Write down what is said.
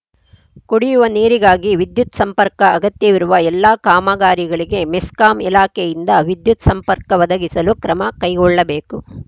ಕುಡಿಯುವ ನೀರಿಗಾಗಿ ವಿದ್ಯುತ್‌ ಸಂಪರ್ಕ ಅಗತ್ಯವಿರುವ ಎಲ್ಲ ಕಾಮಗಾರಿಗಳಿಗೆ ಮೆಸ್ಕಾಂ ಇಲಾಖೆಯಿಂದ ವಿದ್ಯುತ್‌ ಸಂಪರ್ಕ ಒದಗಿಸಲು ಕ್ರಮ ಕೈಗೊಳ್ಳಬೇಕು